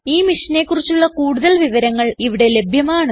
001311 001308 ഈ മിഷനെ കുറിച്ചുള്ള കുടുതൽ വിവരങ്ങൾ ഇവിടെ ലഭ്യമാണ്